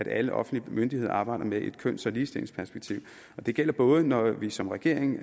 alle offentlige myndigheder arbejder med et køns og ligestillingsperspektiv det gælder både når vi som regering